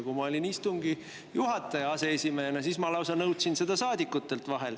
Kui ma olin istungi juhataja aseesimehena, siis ma vahel lausa nõudsin seda saadikutelt.